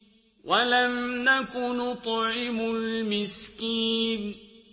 وَلَمْ نَكُ نُطْعِمُ الْمِسْكِينَ